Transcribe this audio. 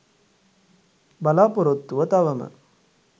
බලාපොරොත්තුව තවම